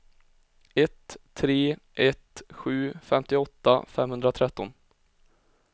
ett tre ett sju femtioåtta femhundratretton